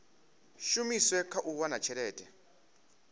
shumiswe kha u wana tshelede